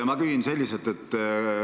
Ma küsin selliselt.